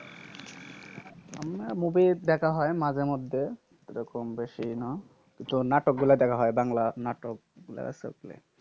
এমনি movie দেখা হয় মাঝে মধ্যে। সেরকম বেশি না। তো নাটকগুলা দেখা হয়, বাংলা নাটকগুলা সকলে।